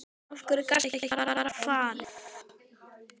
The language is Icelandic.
Af hverju gastu ekki bara farið?